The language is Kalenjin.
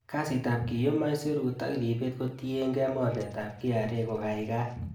Kasitab kiyum aisurut ak ribet kotiienge mornetab KRA kogaigai.